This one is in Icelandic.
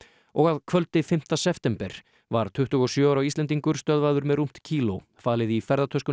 og að kvöldi fimmta september var tuttugu og sjö ára Íslendingur stöðvaður með rúmt kíló falið í ferðatöskunni